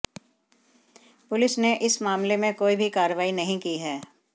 police ने इस मामले में कोई भी कार्रवाई नहीं की है